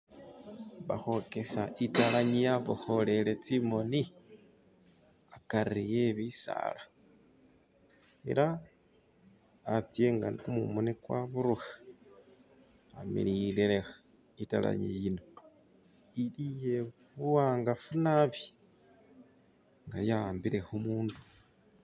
Bakhwokesa italangi yabokholele tsimoni akari ebisala, ela atse nga kumumu khakwaburukha amilile lekha, italangi yino ili iye buwangafu naabi, nga yawambile khu mundu.